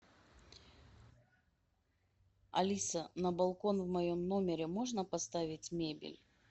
алиса на балкон в моем номере можно поставить мебель